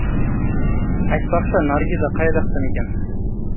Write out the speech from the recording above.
айтпақшы наргиза қай жақтан екен